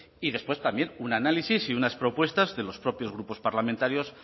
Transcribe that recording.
y después también un análisis y unas propuestas de los propios grupos parlamentarios